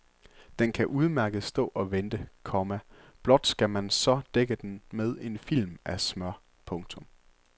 Den kan udmærket stå og vente, komma blot skal man så dække den med en film af smør. punktum